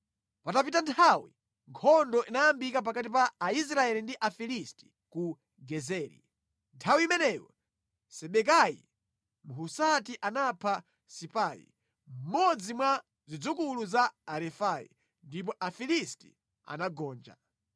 Patapita nthawi, nkhondo inayambika pakati pa Aisraeli ndi Afilisti ku Gezeri. Nthawi imeneyo Sibekai Mhusati anapha Sipai, mmodzi mwa zidzukulu za Arefai, ndipo Afilisti anagonja.